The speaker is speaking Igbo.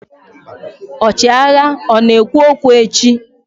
ọchịagha ọ na-ekwu okwu echi?